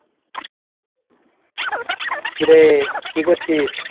কিরে কি করছিস?